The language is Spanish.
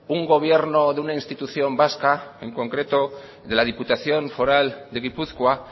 un gobierno de una institución vasca en concreto de la diputación foral de gipuzkoa